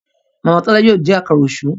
Màmá Tola yóò dín Àkàrà Òṣú.